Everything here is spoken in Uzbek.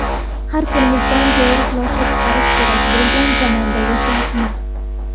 Har kunimizdan to‘g‘ri xulosa chiqarish kerak bo‘lgan zamonda yashayapmiz.